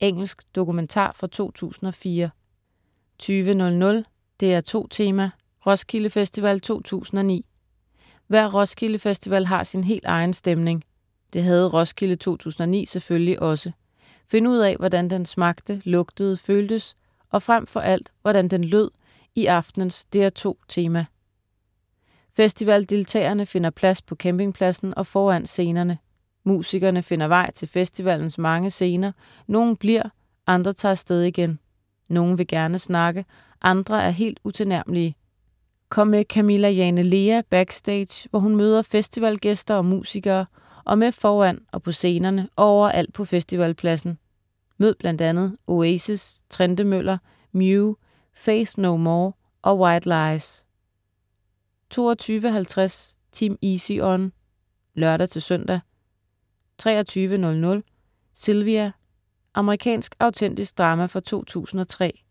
Engelsk dokumentar fra 2004 20.00 DR2 Tema: Roskilde Festival 2009. Hver Roskilde Festival har sin helt egen stemning. Det havde Roskilde 2009 selvfølgelig også. Find ud af, hvordan den smagte, lugtede, føltes og fremfor alt, hvordan den lød i aftenens "DR2 Tema". Festivaldeltagerne finder plads på campingpladsen og foran scenerne. Musikerne finder vej til festivalens mange scener, nogle bliver, andre tager af sted igen. Nogle vil gerne snakke, andre er helt utilnærmelige. Kom med Camilla Jane Lea backstage, hvor hun møder festivalgæster og musikere og med foran og på scenerne og overalt på festivalpladsen. Mød bl.a. Oasis, Trentemøller, Mew, Faith No More og White Lies 22.50 Team Easy On (lør-søn) 23.00 Sylvia. Amerikansk autentisk drama fra 2003